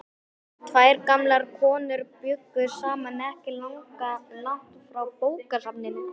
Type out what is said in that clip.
Tvær gamlar konur bjuggu saman ekki langt frá bókasafninu.